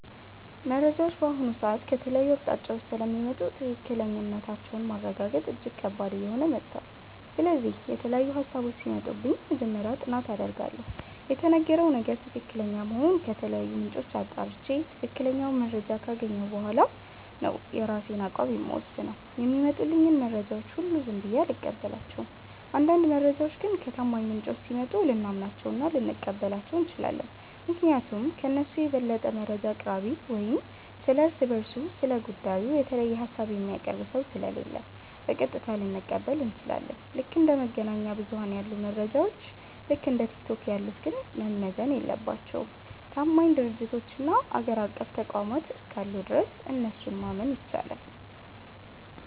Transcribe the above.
መረጃዎች በአሁኑ ሰዓት ከተለያዩ አቅጣጫዎች ስለሚመጡ ትክክለኛነታቸውን ማረጋገጥ እጅግ ከባድ እየሆነ መጥቷል። ስለዚህ፣ የተለያዩ ሃሳቦች ሲመጡብኝ መጀመሪያ ጥናት አደርጋለሁ። የተነገረው ነገር ትክክለኛ መሆኑን ከተለያዩ ምንጮች አጣርቼ፣ ትክክለኛውን መረጃ ካገኘሁ በኋላ ነው የራሴን አቋም የምወስነው። የሚመጡልኝን መረጃዎች ሁሉ ዝም ብዬ አልቀበላቸውም። አንዳንድ መረጃዎች ግን ከታማኝ ምንጮች ሲመጡ ልናምናቸውና ልንቀበላቸው እንችላለን። ምክንያቱም ከእነሱ የበለጠ መረጃ አቅራቢ ወይም ስለ እርስ በርሱ ስለ ጉዳዩ የተለየ ሃሳብ የሚያቀርብ ሰው ስለሌለ፣ በቀጥታ ልንቀበል እንችላለን። ልክ እንደ መገናኛ ብዙኃን ያሉ መረጃዎች፣ ልክ እንደ ቲክቶክ ያሉት ግን መመዘን የለባቸውም። ታማኝ ድርጅቶችና አገር አቀፍ ተቋማት እስካሉ ድረስ እነሱን ማመን ይቻላል።